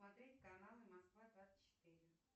смотреть канал москва двадцать четыре